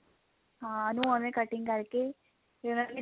ਹਾਂ ਉਹਨੂੰ ਓਵੇਂ cutting ਕਰਕੇ ਫੇਰ ਉਹਨਾਂ ਨੇ